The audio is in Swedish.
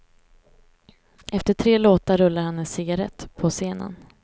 Efter tre låtar rullar han en cigarett, på scenen.